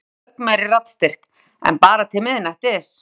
Og endurtók með ögn meiri raddstyrk: En bara til miðnættis.